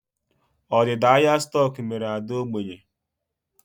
Ọdịda ahịa stoku mere Ade ógbènye